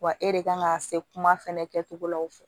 Wa e de kan ka se kuma fɛnɛ kɛcogo la aw fɛ